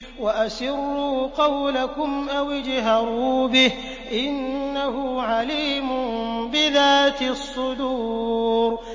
وَأَسِرُّوا قَوْلَكُمْ أَوِ اجْهَرُوا بِهِ ۖ إِنَّهُ عَلِيمٌ بِذَاتِ الصُّدُورِ